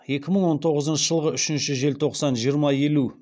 екі мың он тоғызыншы жылғы үшінші желтоқсан жиырма елу